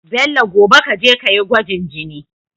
Bello gobe kaje kayi gwajin jini